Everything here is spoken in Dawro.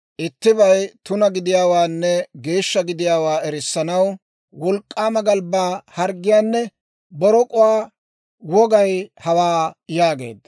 ittibay tuna gidiyaawaanne geeshsha gidiyaawaa erissanaw wolk'k'aama galbbaa harggiyaanne borok'uwaa wogay hawaa» yaageedda.